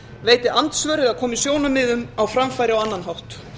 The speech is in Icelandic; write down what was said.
veiti andsvör eða komi sjónarmiðum á framfæri á annan hátt